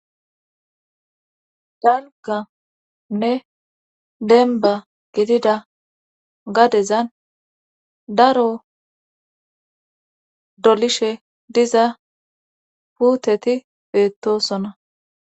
Danganne denba gidida gadezan daro dolishe diza puuteti beettosona.